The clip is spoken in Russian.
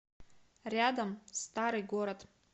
рядом старый город